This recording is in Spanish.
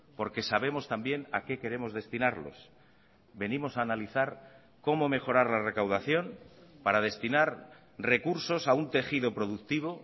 porque sabemos también a qué queremos destinarlos venimos a analizar cómo mejorar la recaudación para destinar recursos a un tejido productivo